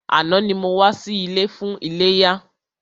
Àná ni mo wá sí ilé fún iléyá.